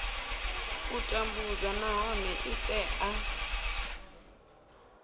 u tambudzwa nahone i tea